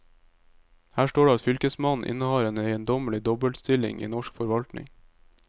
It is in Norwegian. Her står det at fylkesmannen innehar en eiendommelig dobbeltstilling i norsk forvaltning.